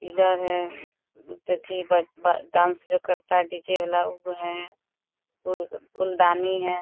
है अथी बज-बज डांस जो करता है डी.जे. वाला उ है। फूल फूलदानी है।